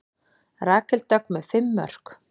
Rakel Dögg með fimm mörk